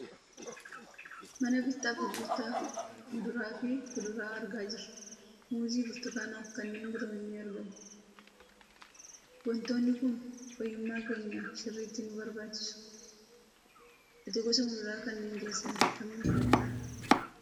Mana bittaa fi gurgurtaa muduraa fi kuduraa argaa jirra. Muuzii, Burtukaanaa fi kanneen biroo ni argamu. Waantonni kun fayyummaa keenyaaf sirriitti ni barbaachisu. Ati gosa muduraa kanneen keessaa kamiin filatta?